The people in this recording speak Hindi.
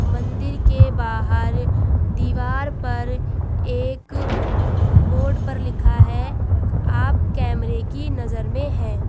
मंदिर के बाहर दीवार पर एक बोर्ड पर लिखा है आप कैमरे की नजर में हैं।